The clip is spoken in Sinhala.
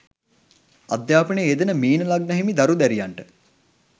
අධ්‍යාපනයේ යෙදෙන මීන ලග්න හිමි දරු දැරියන්ට